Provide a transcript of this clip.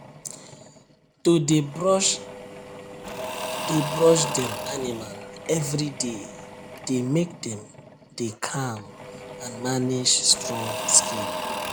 to dey brush dey brush dem animal everyday dey make dem dey calm and manage strong skin